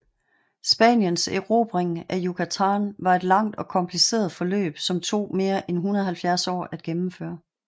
Spaniens erobring af Yucatán var et langt og kompliceret forløb som tog mere 170 år at gennemføre